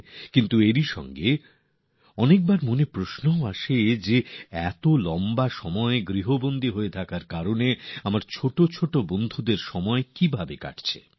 কিন্তু একইসঙ্গে মনে এই প্রশ্নও উঠে আসছে যে এত লম্বা সময় ঘরে বন্দী থাকার কারণে আমার ছোট ছোট শিশুরাবন্ধুরা কিভাবে সময় কাটাচ্ছে